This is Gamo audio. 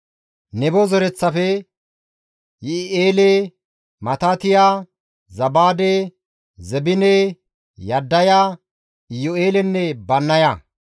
Nebo zereththafe, Yi7i7eele, Matitiya, Zabaade, Zebine, Yaddaya, Iyu7eelenne Bannaya;